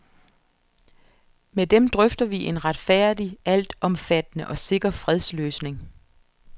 Med dem drøfter vi en retfærdig, altomfattende og sikker fredsløsning.